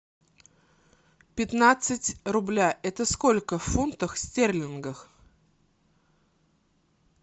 пятнадцать рубля это сколько в фунтах стерлингах